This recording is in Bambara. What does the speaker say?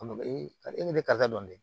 A ma karisa e bɛ ka dɔn dɛ